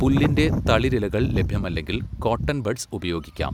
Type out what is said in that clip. പുല്ലിന്റെ തളിരിലകൾ ലഭ്യമല്ലെങ്കിൽ cotton buds ഉപയോഗിക്കാം.